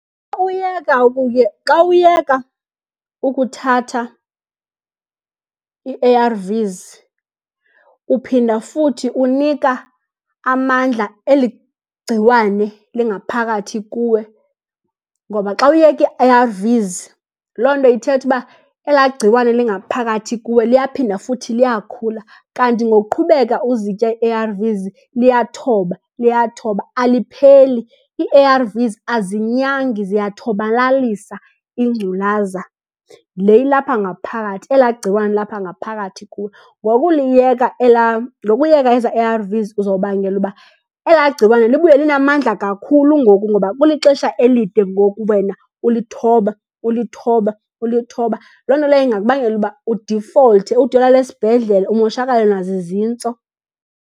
Uyeka , xa uyeka ukuthatha ii-A_R_Vs uphinda futhi unika amandla eli gciwane lingaphakathi kuwe. Ngoba xa uyeka ii-A_R_Vs, loo nto ithetha uba elaa gciwane lingaphakathi kuwe liyaphinda futhi liyakhula, kanti ngokuqhubeka uzitya ii-A_R_Vs liyathoba, liyathoba alipheleli. Ii-A_R_Vs azinyangi ziyathobalalisa ingculaza le ilapha ngaphakathi, elaa gciwane lilapha ngaphakathi kuwe. Ngokuliyeka elaa, ngokuyeka ezaa A_R_Vs uzobangela uba elaa gciwane libuye linamandla kakhulu ngoku ngoba kulixesha elide ngoku wena ulithoba, ulithoba, ulithoba. Loo nto leyo ingakubangela uba udifolthe ude uyolala esibhedlele, umoshakalelwe nazizintso.